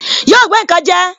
Yóò gbé nkan je